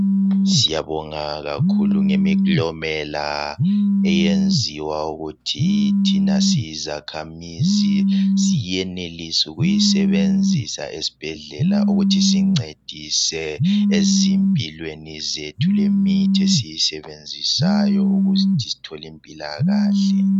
Siyabonga kakhulu ngemiklomela eyenziwa ukuthi thina siyizakhamizi siyenelise ukuyisebenzisa esibhedlela ukuthi siyincedise ezimpilweni zethu lemithi esiyisebenzisayo ukuthi sithole impilakahle.